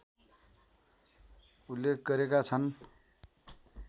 उल्लेख गरेका छन्